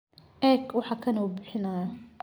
Eeg waxa kani uu bixinayo.